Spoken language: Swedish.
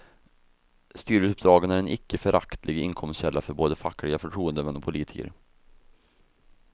Styrelseuppdragen är en icke föraktlig inkomstkälla för både fackliga förtroendemän och politiker.